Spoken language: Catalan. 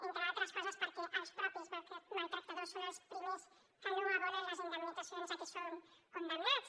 entre d’altres coses perquè els mateixos maltractadors són els primers que no abonen les indemnitzacions a què són condemnats